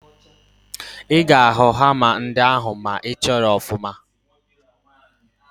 Ị ga-ahụ hama ndị ahụ ma ị chọọ ha ọfụma